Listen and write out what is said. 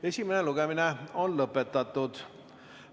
Esimene lugemine on lõpetatud.